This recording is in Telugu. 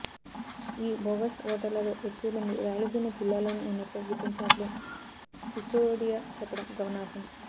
ఈ బోగస్ ఓటర్లలో ఎక్కువమంది రాయలసీమ జిల్లాల్లోనే ఉన్నట్లుగా గుర్తించినట్లు సిసోడియా చెప్పడం గమనార్హం